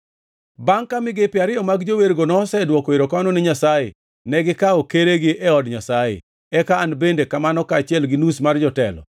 Bangʼ ka migepe ariyo mar jowergo nosedwoko erokamano ni Nyasaye; negikawo keregi e od Nyasaye, eka an bende kamano kaachiel gi nus mar jotelo,